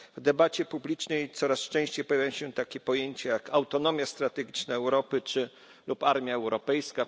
W debacie publicznej coraz częściej pojawiają się takie pojęcia jak autonomia strategiczna Europy lub armia europejska.